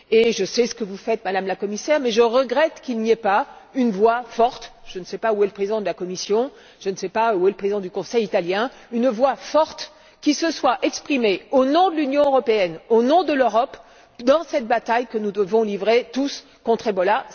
Et je sais ce que vous faites, Madame la Commissaire, mais je regrette qu'il n'y ait pas une voix forte je ne sais pas où est le président de la Commission ni le président du Conseil italien qui se soit exprimée au nom de l'Union, au nom de l'Europe dans cette bataille que nous devons livrer tous contre Ebola.